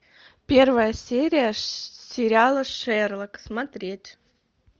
первая серия сериала шерлок смотреть